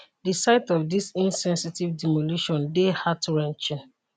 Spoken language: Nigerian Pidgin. di sight of dis insensitive demolition dey heartwrenching